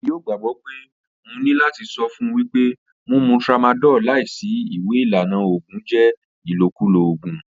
Iwọ kii yoo gbagbọ pe mo ni lati sọ fun wipe mumu tramadol laisi iwe ilana oògùn jẹ ilokulo oògùn.